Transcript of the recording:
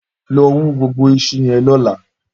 Lọ wù gbógbó iṣú yèn lọ̀lá